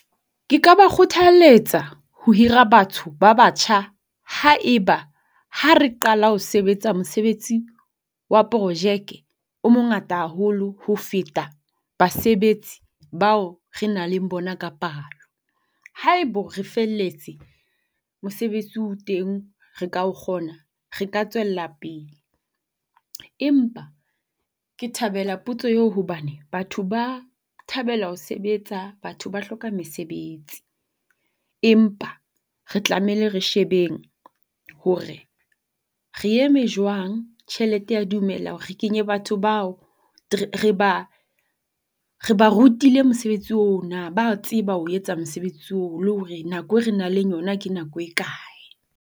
Ke ba kgothalletsa ho hira batho ba batjha haeba ha re qala ho sebetsa mosebetsi wa porojeke o mongata haholo ho feta basebetsi bao re nang le bona ka palo. Haebo re felletse mosebetsi o teng re ka o kgona, re ka tswella pele. Empa ke thabela potso eo hobane batho ba thabela ho sebetsa batho ba hloka mesebetsi. Empa re tlameile re shebeng hore re eme jwang, tjhelete ya dumela hore re kenye batho bao, re ba re ba rutile mosebetsi oo na, ba a tseba ho o etsa mosebetsi oo le hore na nako e re nang le yona ke nako e kae.